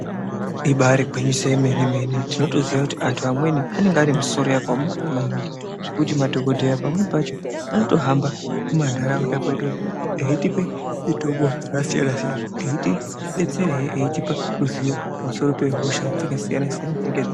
Ibaari ngwinyiso yemene-mene tinoyoziya kuti anhu amweni , anenge ane musoro yakaomarara maningi, zvekuti madhokodheya pamweni pacho, anotohamba mumantaraunda mwedu, eitipe mitombo dzakasiyana-siyana, eitibetserehe eitipa ruzivo pamusoro pehosha dzakasiyana-siyana dzinenge dzei....